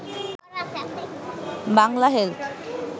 Bangla health